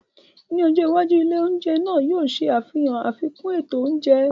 Ní ọjọ́ iwájú, ilé oúnjẹ náà yóò ṣe àfihàn àfikún ètò oúnjẹ.